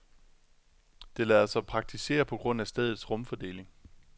Det lader sig praktisere på grund af stedets rumfordeling.